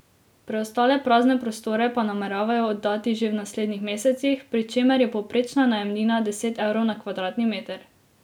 Preostale prazne prostore pa nameravajo oddati že v naslednjih mesecih, pri čemer je povprečna najemnina deset evrov na kvadratni meter.